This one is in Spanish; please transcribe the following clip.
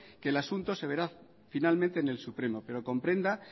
que el asunto se verá finalmente en el supremo pero comprenda